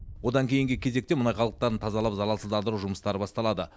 одан кейінгі кезекте мұнай қалдықтарын тазалап залалсыздандыру жұмыстары басталады